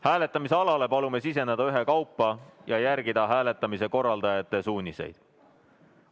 Hääletamisalale palume siseneda ühekaupa ja järgida hääletamise korraldajate suuniseid.